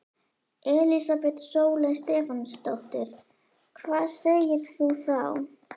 Elísabet Sóley Stefánsdóttir: Hvað segir þú þá?